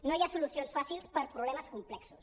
no hi ha solucions fàcils per problemes com·plexos